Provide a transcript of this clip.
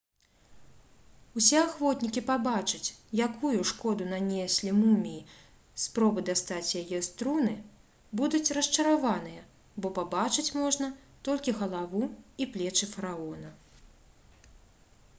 усе ахвотнікі пабачыць якую шкоду нанеслі муміі спробы дастаць яе з труны будуць расчараваныя бо пабачыць можна толькі галаву і плечы фараона